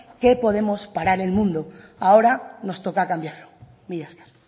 que podemos parar el mundo ahora nos toca cambiarlo mila esker